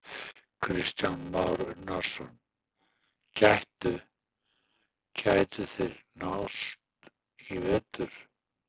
Kristján Már Unnarsson: Gætu, gætu þeir nást í vetur?